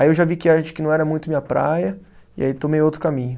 Aí eu já vi que que não era muito minha praia e aí tomei outro caminho.